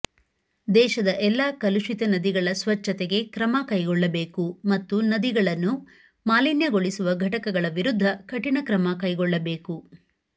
ದೇಶದ ಎಲ್ಲಾ ಕಲುಷಿತ ನದಿಗಳ ಸ್ವಚ್ಛತೆಗೆ ಕ್ರಮಕೈಗೊಳ್ಳಬೇಕು ಮತ್ತು ನದಿಗಳನ್ನು ಮಾಲಿನ್ಯಗೊಳಿಸುವ ಘಟಕಗಳ ವಿರುದ್ಧ ಕಠಿಣ ಕ್ರಮ ಕೈಗೊಳ್ಳಬೇಕು